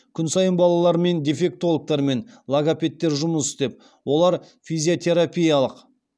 күн сайын балалармен дефектологтар мен логопедтер жұмыс істеп